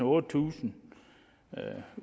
otte tusind